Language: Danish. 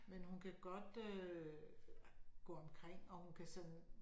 Men hun kan godt øh gå omkring og hun kan sådan